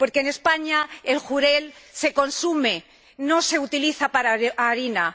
Porque, en España, el jurel se consume, no se utiliza para harina.